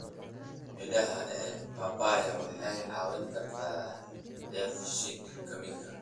Midhaha ee papaya waxay caawin kartaa dheef-shiid kiimika.